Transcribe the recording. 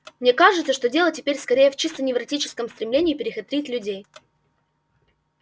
мне кажется что дело теперь скорее в чисто невротическом стремлении перехитрить людей